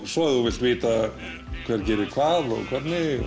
svo ef þú vilt vita hver gerir hvað og hvernig